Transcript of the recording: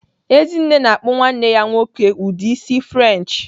Ezinne na-akpụ nwanne ya nwoke ụdị isi French.